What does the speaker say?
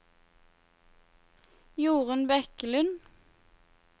Jorun Bekkelund